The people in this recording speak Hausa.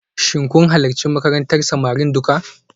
Shin kun halarci makarantar samari duka?